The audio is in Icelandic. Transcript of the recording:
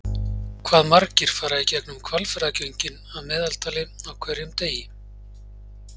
hvað fara margir í gegnum hvalfjarðargöngin að meðaltali á hverjum degi